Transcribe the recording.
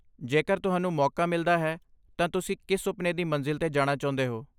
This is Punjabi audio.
ਜੇਕਰ ਤੁਹਾਨੂੰ ਮੌਕਾ ਮਿਲਦਾ ਹੈ ਤਾਂ ਤੁਸੀਂ ਕਿਸ ਸੁਪਨੇ ਦੀ ਮੰਜ਼ਿਲ 'ਤੇ ਜਾਣਾ ਚਾਹੁੰਦੇ ਹੋ?